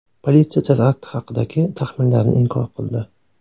Politsiya terakt haqidagi taxminlarni inkor qildi.